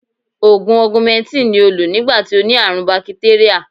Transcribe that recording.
Ògùn Ọgumẹntìn ni ó lò nígbà tí ó ní àrùn bakitéríà